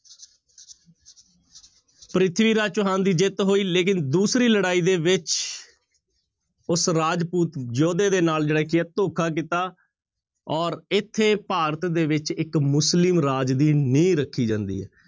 ਪ੍ਰਿਥਵੀ ਰਾਜ ਚੌਹਾਨ ਦੀ ਜਿੱਤ ਹੋਈ ਲੇਕਿੰਨ ਦੂਸਰੀ ਲੜਾਈ ਦੇ ਵਿੱਚ ਉਸ ਰਾਜਪੂਤ ਯੋਧੇ ਦੇ ਨਾਲ ਜਿਹੜਾ ਕੀ ਹੈ ਧੋਖਾ ਕੀਤਾ ਔਰ ਇੱਥੇ ਭਾਰਤ ਦੇ ਵਿੱਚ ਇੱਕ ਮੁਸਲਿਮ ਰਾਜ ਦੀ ਨੀਂਹ ਰੱਖੀ ਜਾਂਦੀ ਹੈ।